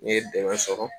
N'i ye dɛmɛ sɔrɔ